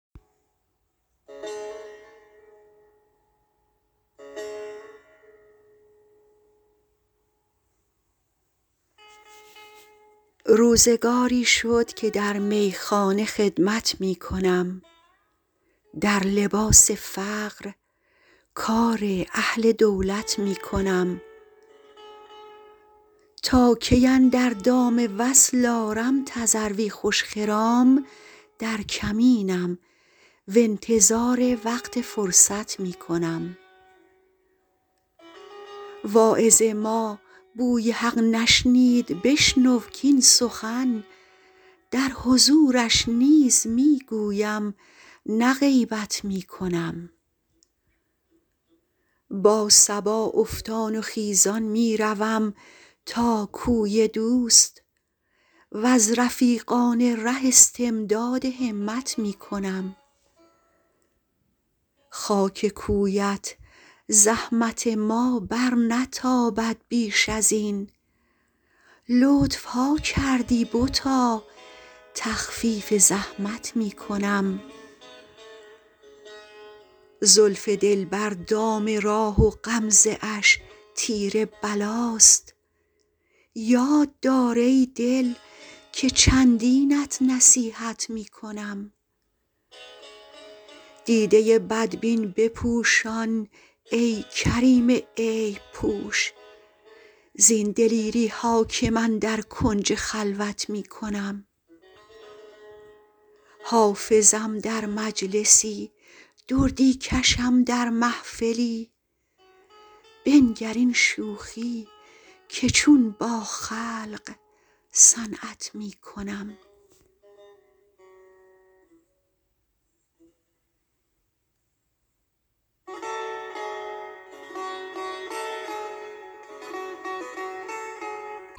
روزگاری شد که در میخانه خدمت می کنم در لباس فقر کار اهل دولت می کنم تا کی اندر دام وصل آرم تذروی خوش خرام در کمینم و انتظار وقت فرصت می کنم واعظ ما بوی حق نشنید بشنو کاین سخن در حضورش نیز می گویم نه غیبت می کنم با صبا افتان و خیزان می روم تا کوی دوست و از رفیقان ره استمداد همت می کنم خاک کویت زحمت ما برنتابد بیش از این لطف ها کردی بتا تخفیف زحمت می کنم زلف دلبر دام راه و غمزه اش تیر بلاست یاد دار ای دل که چندینت نصیحت می کنم دیده بدبین بپوشان ای کریم عیب پوش زین دلیری ها که من در کنج خلوت می کنم حافظم در مجلسی دردی کشم در محفلی بنگر این شوخی که چون با خلق صنعت می کنم